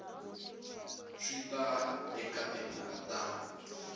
swi ta eka timhaka ta